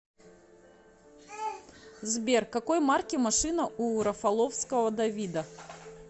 сбер какой марки машина у рафаловского давида